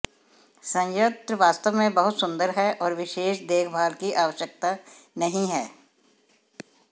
संयंत्र वास्तव में बहुत सुंदर है और विशेष देखभाल की आवश्यकता नहीं है